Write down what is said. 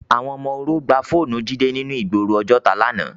Awòn òmò óró gbá fónù Jide ninú igbóró Ojota làná